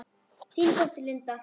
Þín dóttir, Linda.